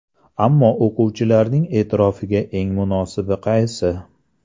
Ammo o‘quvchilarning e’tirofiga eng munosibi qaysi?